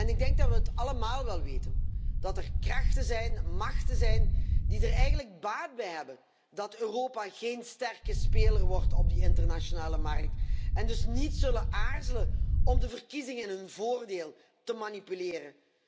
Ik denk dat we allemaal wel weten dat er krachten, machten zijn die er eigenlijk baat bij hebben dat Europa geen sterke speler wordt op de internationale markt. Deze krachten zullen dus niet aarzelen om de verkiezingen in hun voordeel te manipuleren.